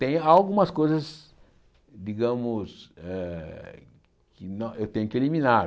Tem algumas coisas, digamos, eh que nã eu tenho que eliminar.